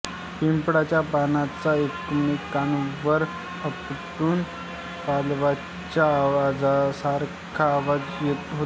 पिंपळाच्या पानांचा एकमेकांवर आपटून पावलांच्या आवाजासारखा आवाज होतो